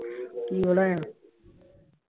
ਕੀ ਬਣਾਇਆ?